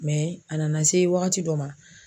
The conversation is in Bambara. a nana se wagati dɔ ma